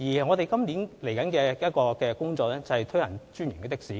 我們今年的另一項工作，是推行"專營的士"。